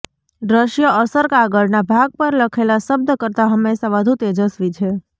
દ્રશ્ય અસર કાગળના ભાગ પર લખેલા શબ્દ કરતાં હંમેશા વધુ તેજસ્વી છે